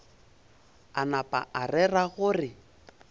a napa a rera gore